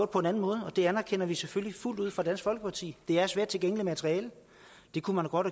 på en anden måde og det anerkender vi selvfølgelig fuldt ud fra dansk folkeparti det er svært tilgængeligt materiale det kunne man godt